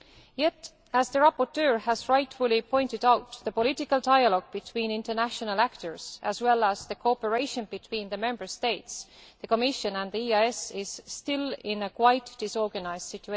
Yet, as the rapporteur has rightly pointed out, the political dialogue between international actors, as well as the cooperation between Member States, the Commission and the EEAS, is still in a quite disorganised state.